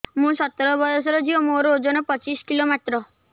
ମୁଁ ସତର ବୟସର ଝିଅ ମୋର ଓଜନ ପଚିଶି କିଲୋ ମାତ୍ର